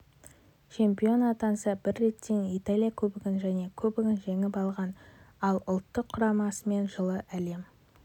чемпион атанса бір реттен италия кубогын және кубогын жеңіп алған ал ұлттық құрамасымен жылы әлем